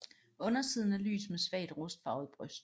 Undersiden er lys med svagt rustfarvet bryst